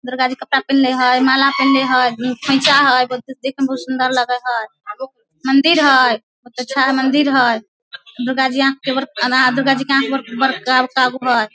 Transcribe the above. दुर्गा जी कपड़ा पिनहले हेय माला पिनहले हेय देखे मे बहुत सुन्दर लगे हेय मंदिर हेय मंदिर हेय दुर्गा जी आंख के बड दुर्गा जी के आंख बड़का बड़का गो हेय।